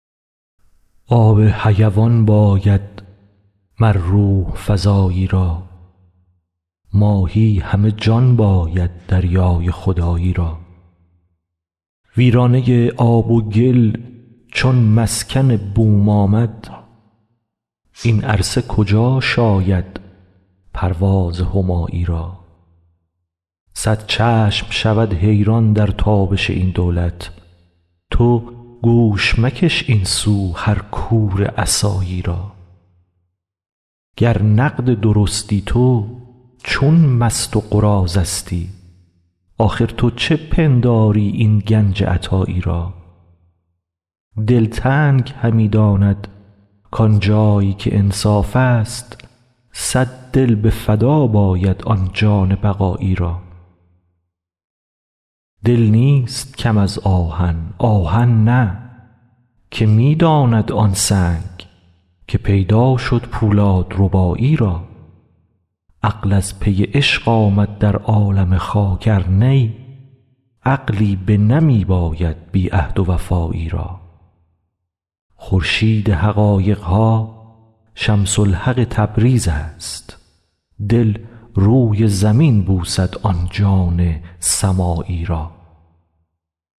آب حیوان باید مر روح فزایی را ماهی همه جان باید دریای خدایی را ویرانه ی آب و گل چون مسکن بوم آمد این عرصه کجا شاید پرواز همایی را صد چشم شود حیران در تابش این دولت تو گوش مکش این سو هر کور عصایی را گر نقد درستی تو چون مست و قراضه ستی آخر تو چه پنداری این گنج عطایی را دلتنگ همی دانند کان جای که انصافست صد دل به فدا باید آن جان بقایی را دل نیست کم از آهن آهن نه که می داند آن سنگ که پیدا شد پولادربایی را عقل از پی عشق آمد در عالم خاک ار نی عقلی بنمی باید بی عهد و وفایی را خورشید حقایق ها شمس الحق تبریز است دل روی زمین بوسد آن جان سمایی را